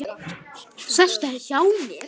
Sestu hjá mér.